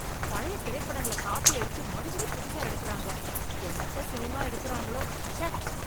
பழைய திரைப்படங்கள காப்பி அடிச்சு மறுபடியம் புதுசா எடுக்குறாங்க, என்னத்த சினிமா எடுக்குறாங்களோ, ச்சே.